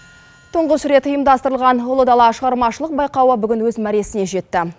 тұңғыш рет ұйымдастырылған ұлы дала шығармашылық байқауы бүгін өз мәресіне жетті